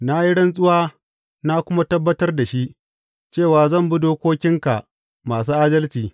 Na yi rantsuwa na kuma tabbatar da shi, cewa zan bi dokokinka masu adalci.